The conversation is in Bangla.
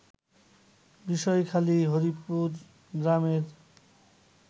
বিষয়খালী হরিপুর গ্রামের